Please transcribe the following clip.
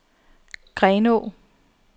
Grenaa